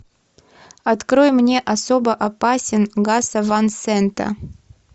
открой мне особо опасен гаса ван сента